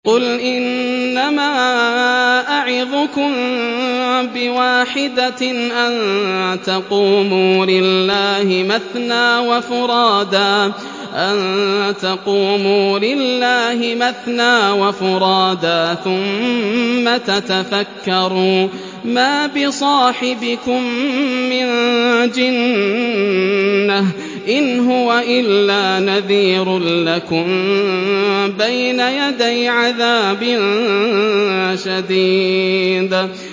۞ قُلْ إِنَّمَا أَعِظُكُم بِوَاحِدَةٍ ۖ أَن تَقُومُوا لِلَّهِ مَثْنَىٰ وَفُرَادَىٰ ثُمَّ تَتَفَكَّرُوا ۚ مَا بِصَاحِبِكُم مِّن جِنَّةٍ ۚ إِنْ هُوَ إِلَّا نَذِيرٌ لَّكُم بَيْنَ يَدَيْ عَذَابٍ شَدِيدٍ